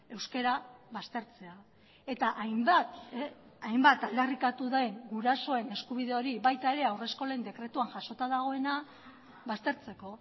euskara baztertzea eta hainbat hainbat aldarrikatu den gurasoen eskubide hori baita ere haurreskolen dekretuan jasota dagoena baztertzeko